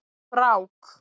Brák